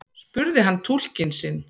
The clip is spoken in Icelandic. spurði hann túlkinn sinn.